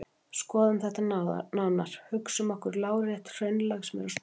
Skoðum þetta nánar: Hugsum okkur lárétt hraunlag sem er að storkna.